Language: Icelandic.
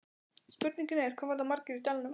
Spurningin er, hvað verða margir í dalnum?